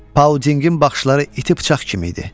Pauldingin baxışları iti bıçaq kimi idi.